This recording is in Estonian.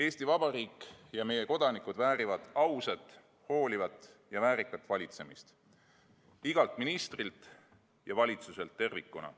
Eesti Vabariik ja meie kodanikud väärivad ausat, hoolivat ja väärikat valitsemist igalt ministrilt ja valitsuselt tervikuna.